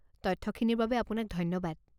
তথ্যখিনিৰ বাবে আপোনাক ধন্যবাদ।